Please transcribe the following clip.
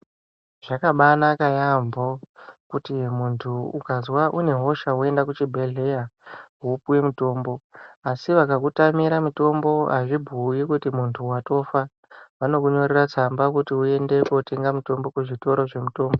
Zvakabanaka yambo, kuti muntu ukazva unehosha woyenda kuchibhedhlela, wopiwe mutombo. Asi vakakutamira mutombo, azvubuwi kuti muntu watofa, vanokunyorera tsamba kuti uyende kotenga mutombo kuzvitoro zvinotengese mutombo.